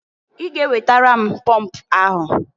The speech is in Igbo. I ga ewetara m pọmp ahụ!